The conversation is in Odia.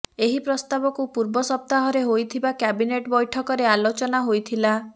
ଏହି ପ୍ରସ୍ତାବକୁ ପୂର୍ବ ସପ୍ତାହରେ ହୋଇଥିବା କ୍ୟାବିନେଟ ବୈଠକରେ ଅଲୋଚନା ହୋଇଥିଲା